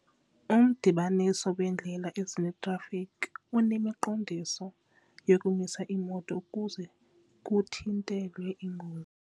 Umdibaniso weendlela ezine unemiqondiso yokumisa iimoto ukuze kuthintelwe iingozi.